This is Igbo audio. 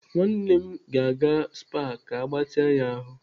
Nwanne m ga-aga SPA ka agbatịa ya ahụ.